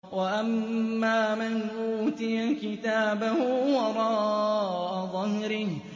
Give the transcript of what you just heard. وَأَمَّا مَنْ أُوتِيَ كِتَابَهُ وَرَاءَ ظَهْرِهِ